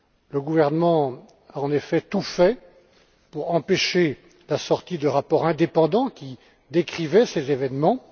Le gouvernement a, en effet, tout fait pour empêcher la sortie de rapports indépendants qui décrivaient ces événements.